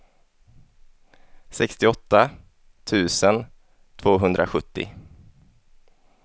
sextioåtta tusen tvåhundrasjuttio